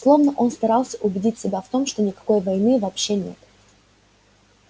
словно он старался убедить себя в том что никакой войны вообще нет